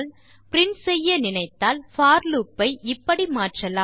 print செய்ய நினைத்தால் for loop ஐ இப்படி மாற்றலாம்